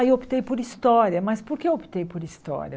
Aí optei por história, mas por que optei por história?